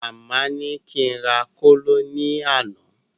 Màmá ní kí n rà kóló ní àná